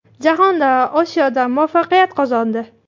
Jahonda, Osiyoda muvaffaqiyat qozondi.